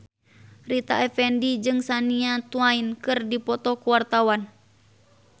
Rita Effendy jeung Shania Twain keur dipoto ku wartawan